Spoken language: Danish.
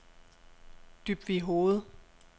Dybvighoved